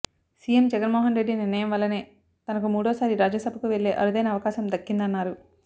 CM Jagan Mohan Reddy నిర్ణయం వల్లనే తనకు మూడోసారి రాజ్యసభకు వెళ్లే అరుదైన అవకాశం దక్కిందన్నారు